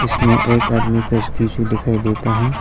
इसमें एक आदमी का स्टेचू दिखाई देता है।